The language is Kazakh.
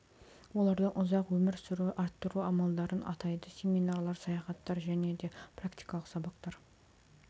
олардың ұзақ өмір сүру арттыру амалдарын атайды семинарлар саяхаттар және де практикалық сабақтар